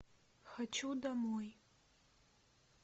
хочу домой